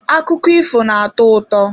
Akụkọ ifo na-atọ ụtọ.